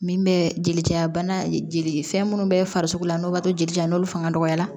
Min bɛ jelitera bana jeli fɛn minnu bɛ farisogo la n'o b'a to jeli la n'olu fanga dɔgɔyara